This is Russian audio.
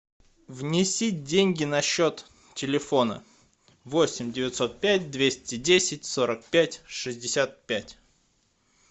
внеси деньги на счет телефона восемь девятьсот пять двести десять сорок пять шестьдесят пять